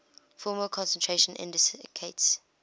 formal concentration indicates